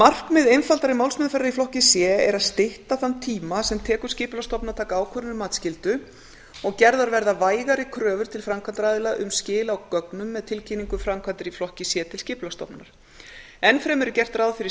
markmið einfaldari málsmeðferðar í flokki c er að stytta þann tíma sem tekur skipulagsstofnun að taka ákvörðun um matsskyldu gerðar verða vægari kröfur til framkvæmdaraðila um skil á gögnum með tilkynningu um framkvæmdir í flokki c til skipulagsstofnunar enn fremur er gert ráð fyrir